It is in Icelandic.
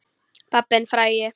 Pabbinn frægi.